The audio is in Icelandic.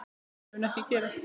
Þetta mun ekki gerast.